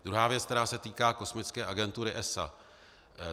Druhá věc, která se týká kosmické agentury ESA.